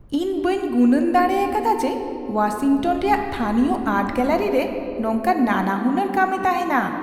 ᱤᱧ ᱵᱟᱹᱧ ᱜᱩᱱᱟᱹᱱ ᱫᱟᱲᱮ ᱟᱠᱟᱫᱟ ᱡᱮ ᱳᱣᱟᱥᱤᱝᱴᱚᱱ ᱨᱮᱭᱟᱜ ᱛᱷᱟᱹᱱᱤᱭᱚ ᱟᱨᱴ ᱜᱮᱞᱟᱨᱤ ᱨᱮ ᱱᱚᱝᱠᱟᱱ ᱱᱟᱱᱟᱦᱩᱱᱟᱹᱨ ᱠᱟᱹᱢᱤ ᱛᱟᱦᱮᱱᱟ ᱾